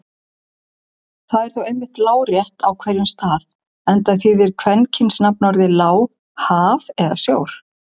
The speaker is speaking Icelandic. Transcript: Það er þó einmitt lárétt á hverjum stað enda þýðir kvenkynsorðið lá haf eða sjór.